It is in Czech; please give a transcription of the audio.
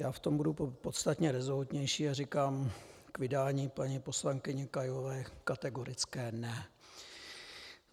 Já v tom budu podstatně rezolutnější a říkám k vydání paní poslankyně Kailové kategorické ne.